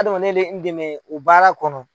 Adamaden bɛ n dɛmɛ u baara kɔnɔ